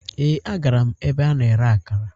Ee, agara m ebe a na-ere akara